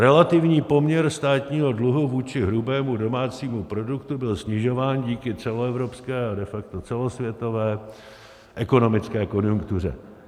Relativní poměr státního dluhu vůči hrubému domácímu produktu byl snižován díky celoevropské a de facto celosvětové ekonomické konjunktuře.